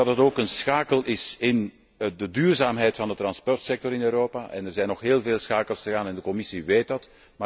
Het is ook een schakel in de duurzaamheid van de vervoerssector in Europa en er zijn nog heel veel schakels te gaan en de Commissie weet dat.